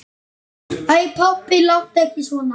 Æ pabbi, láttu ekki svona.